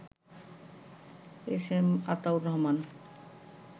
SM Ataur Rahman